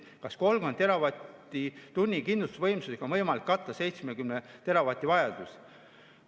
Kas 30 teravatt-tunnise võimsusega on võimalik katta 70 teravatt‑tunni vajadust?